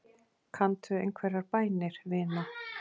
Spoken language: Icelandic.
Kanntu einhverjar bænir, vina?